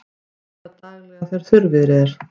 Vökvað daglega þegar þurrviðri er.